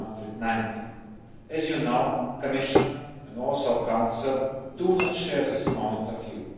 290. As you know, the Commission and also the Council do not share this point of